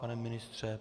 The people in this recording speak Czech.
Pane ministře?